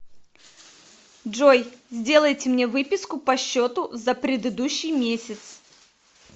джой сделайте мне выписку по счету за предыдущий месяц